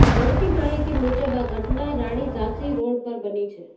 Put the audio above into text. મળતી માહિતી મુજબ આ ઘટના રાણી ઝાંસી રોડ પર બની છે